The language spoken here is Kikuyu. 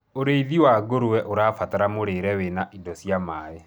ũrĩithi wa ngurwe ũrabatara mũrĩre wina indo cia maĩ